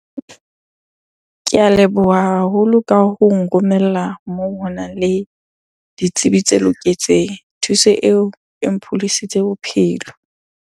Ke a leboha haholo ka ho nromella moo honang le ditsebi tse loketseng. Thuso eo e mpholositse bophelo.